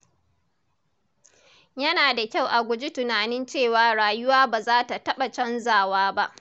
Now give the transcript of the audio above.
Yana da kyau a guji tunanin cewa rayuwa ba za ta taɓa canzawa ba.